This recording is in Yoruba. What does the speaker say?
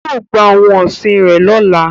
yóò gba ohun ọsin rẹ lọla